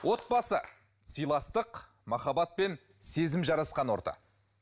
отбасы сыйластық махаббатпен сезім жарасқан орта